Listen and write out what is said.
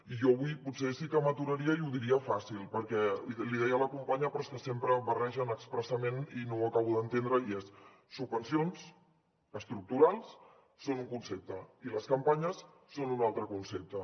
i jo avui potser sí que m’aturaria i ho diria fàcil perquè l’hi deia la companya però és que sempre ho barregen expressament i no ho acabo d’entendre i és subvencions estructurals són un concepte i les campanyes són un altre concepte